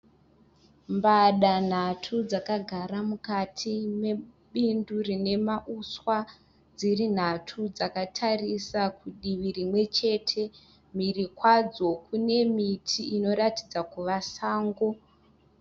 Mbada nhatu dzakagara mukati mebindu rine mauswa dziri nhatu dzakatarisa kudivi rimwechete mhiri kwadzo kune miti inoratidza kuva sango.